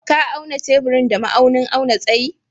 Ka auna teburin da ma'aunin auna tsayi?